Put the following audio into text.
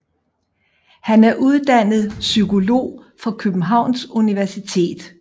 Han er uddannet psykolog fra Københavns Universitet